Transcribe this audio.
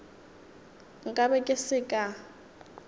nka be ke se ka